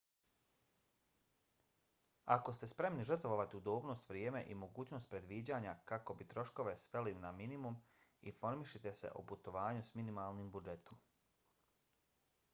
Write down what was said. ako ste spremni žrtvovati udobnost vrijeme i mogućnost predviđanja kako bi troškove sveli na minimum informišite se o putovanju s minimalnim budžetom